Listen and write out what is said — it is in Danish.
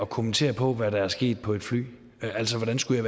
kommentere på hvad der er sket på et fly altså hvordan skulle